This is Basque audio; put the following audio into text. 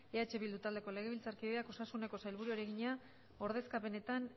eh bildu taldeko legebiltzarkideak osasuneko sailburuari egina ordezkapenetan